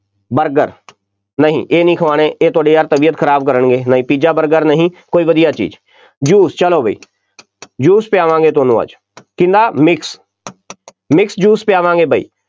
burger, ਨਹੀਂ ਇਹ ਨਹੀਂ ਖਵਾਉਣੇ, ਇਹ ਤੁਹਾਡੀ ਯਾਰ ਤਬੀਅਤ ਖਰਾਬ ਕਰਨਗੇ, ਨਹੀਂ ਪੀਜ਼ਾ, ਬਰਗਰ ਨਹੀਂ, ਕੋਈ ਵਧੀਆ ਚੀਜ਼, juice ਚੱਲੋ ਬਈ juice ਪਿਆਵਾਂਗੇ ਤੁਹਾਨੂੰ ਅੱਜ, ਕਿਹਦਾ mix mix juice ਪਿਆਵਾਂਗੇ ਬਈ,